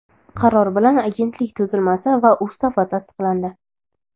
qaror bilan Agentlik tuzilmasi va Ustavi tasdiqlandi.